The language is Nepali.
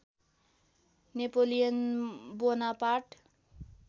Napoleon Bonaparte